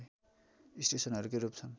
स्टेसनहरूकै रूप छन्